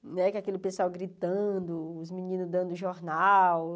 Né que é aquele pessoal gritando, os meninos dando jornal.